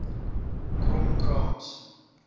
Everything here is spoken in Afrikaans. kromkrans